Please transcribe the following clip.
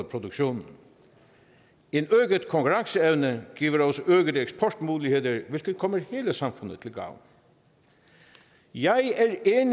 produktionen en øget konkurrenceevne giver også øgede eksportmuligheder hvilket kommer hele samfundet til gavn jeg